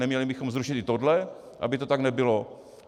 Neměli bychom zrušit i tohle, aby to tak nebylo?